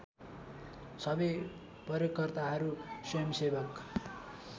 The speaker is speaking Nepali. सबै प्रयोगकर्ताहरू स्वयम्‌सेवक